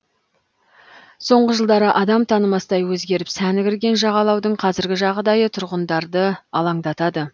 соңғы жылдары адам танымастай өзгеріп сәні кірген жағалаудың қазіргі жағдайы тұрғындарды алаңдатады